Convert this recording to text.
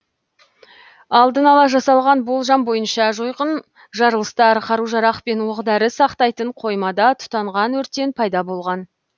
алдын ала жасалған болжам бойынша жойқын жарылыстар қару жарақ пен оқ дәрі сақтайтын қоймада тұтанған өрттен пайда болған